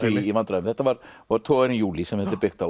í vandræðum þetta var togarinn júlí sem þetta er byggt á